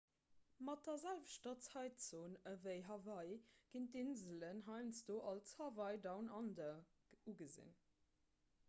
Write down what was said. mat der selwechter zäitzon ewéi hawaii ginn d'inselen heiansdo als hawaii down under ugesinn